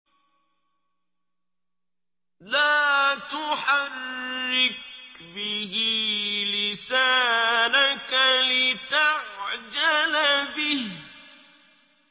لَا تُحَرِّكْ بِهِ لِسَانَكَ لِتَعْجَلَ بِهِ